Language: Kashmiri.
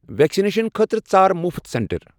ویکسِنیشن خٲطرٕ ژار مُفٕت سینٹر۔